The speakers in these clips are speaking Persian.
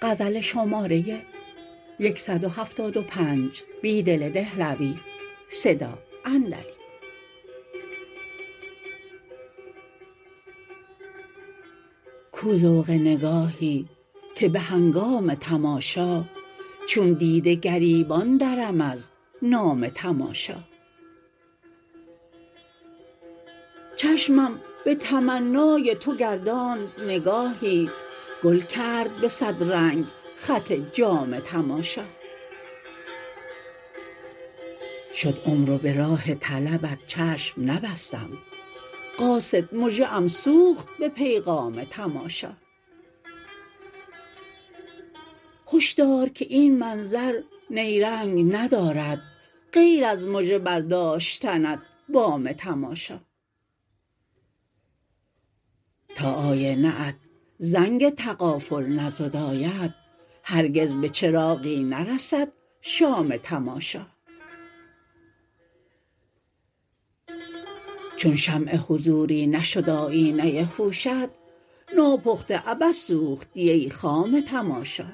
کو ذوق نگاهی که به هنگام تماشا چون دیده گریبان درم از نام تماشا چشمم به تمنای تو گرداند نگاهی گل کرد به صد رنگ خط جام تماشا شد عمر و به راه طلبت چشم نبستم قاصد مژه ام سوخت به پیغام تماشا هشدار که این منظر نیرنگ ندارد غیر از مژه برداشتنت بام تماشا تا آینه ات زنگ تغافل نزداید هرگز به چراغی نرسد شام تماشا چون شمع حضوری نشد آیینه هوشت ناپخته عبث سوختی ای خام تماشا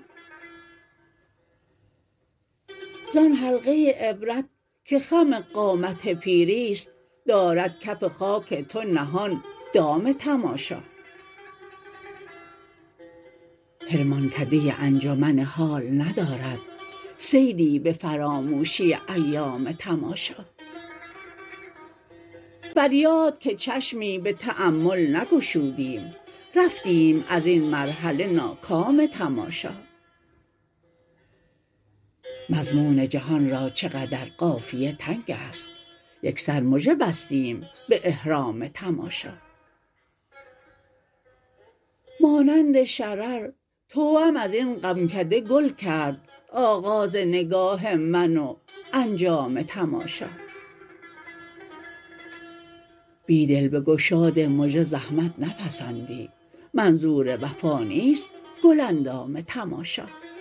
زان حلقه عبرت که خم قامت پیری ست دارد کف خاک تو نهان دام تماشا حرمانکده انجمن حال ندارد صیدی به فراموشی ایام تماشا فریاد که چشمی به تأمل نگشودیم رفتیم ازین مرحله ناکام تماشا مضمون جهان را چقدر قافیه تنگ است یکسر مژه بستیم به احرام تماشا مانند شرر توأم ازین غمکده گل کرد آغاز نگاه من و انجام تماشا بیدل به گشاد مژه زحمت نپسندی منظور وفا نیست گل اندام تماشا